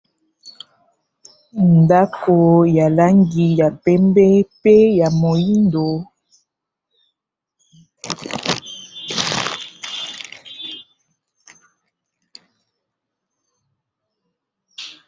Ndako ya langi ya pembe mpe ya moyindo.